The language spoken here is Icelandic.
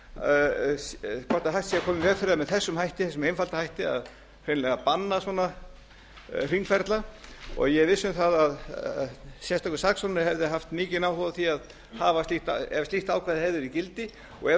að koma í veg yfir það með þessum hætti þessum einfalda hætti að hreinlega banna svona hringferla ég er viss um það að sérstakur saksóknari hefði haft mikinn áhuga á því ef slíkt ákvæði hefði verið í gildi og ef